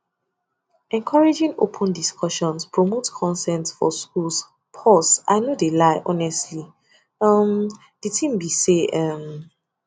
encouraging open discussions promotes consent for schools pause i no de lie honestly um um de tin be say um